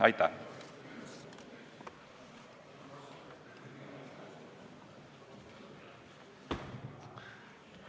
Aitäh!